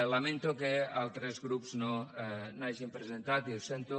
lamento que altres grups no n’hagin presentat i ho sento